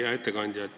Hea ettekandja!